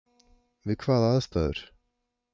Við hvaða aðstæður?